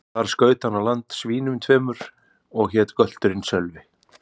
Þar skaut hann á land svínum tveimur, og hét gölturinn Sölvi.